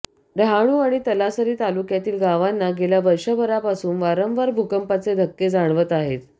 डहाणू आणि तलासरी तालुक्यातील गावांना गेल्या वर्षभरापासून वारंवार भूकंपाचे धक्के जाणवत आहेत